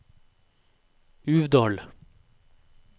Uvdal